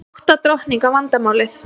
Átta drottninga vandamálið